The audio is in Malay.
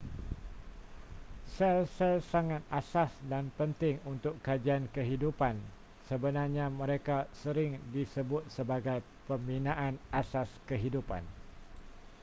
sel-sel sangat asas dan penting untuk kajian kehidupan sebenarnya mereka sering disebut sebagai pembinaan asas kehidupan